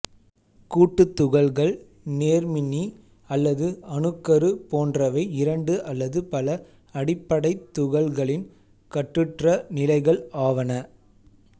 கூட்டுத் துகள்கள் நேர்மின்னி அல்லது அணுக்கரு போன்றவை இரண்டு அல்லது பல அடிப்படைத் துகள்களின் கட்டுற்ற நிலைகள் ஆவன